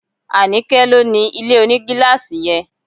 Anike ló ni ilé onigilaasi yẹn